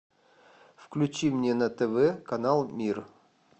включи мне на тв канал мир